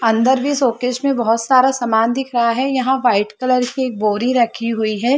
अन्दर में शोकेस में बहुत सारा सामान भी दिख रहा है यहाँ वाइट कलर की एक बोरी रखी हुई है।